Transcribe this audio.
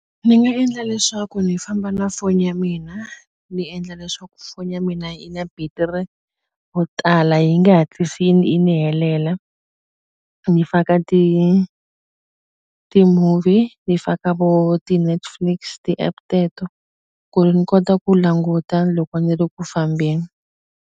Ni nga endla leswaku ni famba na foni ya mina ni endla leswaku foni ya mina yi na battery wo tala yi nge hatlisi yi yi ni helela ni faka ti-movie ni faka vo ti-Netflix ti-app teto ku ri ni kota ku languta loko ni ri ku fambeni.